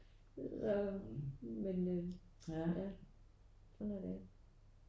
Så men øh ja sådan er det